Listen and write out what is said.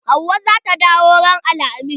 Hauwa zata dawo ran alhamis.